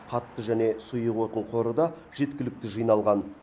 қатты және сұйық отын қоры да жеткілікті жиналған